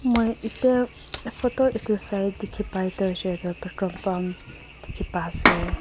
moi eta photo etu sai dikhipai toh hoishe toh petrol pump dikhi pa ase.